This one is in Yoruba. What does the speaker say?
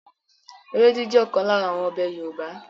Ewédú jẹ́ ọ̀kan lára àwọn ọbẹ̀ Yorùbá